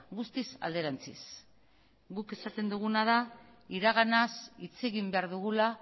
guztiz alderantziz guk esaten duguna da iraganaz hitz egin behar dugula